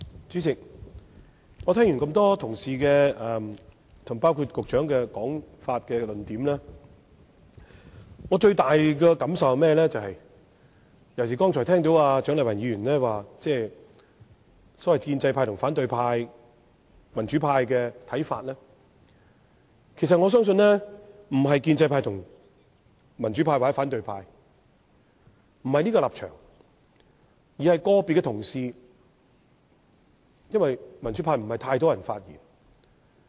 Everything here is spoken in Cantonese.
主席，聽罷這麼多位議員及局長的發言和論點，尤其是蔣麗芸議員剛才提到所謂建制派及反對派或民主派的看法，我最大的感受是，我相信問題並不關於建制派及民主派或反對派的立場，而是個別議員的看法，因為也沒有太多民主派議員發言。